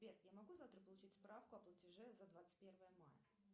сбер я могу завтра получить справку о платеже за двадцать первое мая